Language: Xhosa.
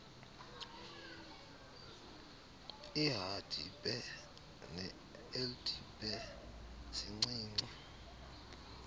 ihdpe neldpe sincinci